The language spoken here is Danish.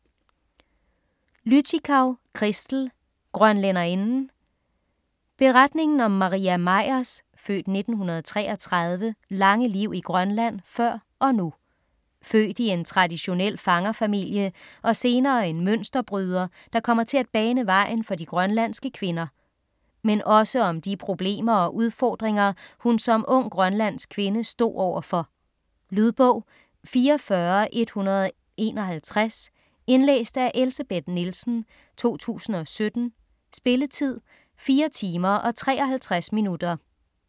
Lüttichau, Christel: Grønlænderinden Beretningen om Maria Meyers (f. 1933) lange liv i Grønland før og nu. Født i en traditionel fangerfamilie og senere en mønsterbryder, der kommer til at bane vejen for de grønlandske kvinder. Men også om de problemer og udfordringer, hun som ung grønlandsk kvinde stod over for. Lydbog 44151 Indlæst af Elsebeth Nielsen, 2017. Spilletid: 4 timer, 53 minutter.